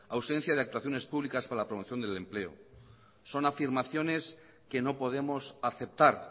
ausencia de actuaciones públicas para la promoción del empleo son afirmaciones que no podemos aceptar